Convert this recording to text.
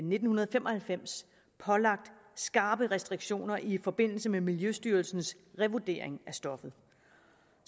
nitten fem og halvfems pålagt skrappe restriktioner i forbindelse med miljøstyrelsens revurdering af stoffet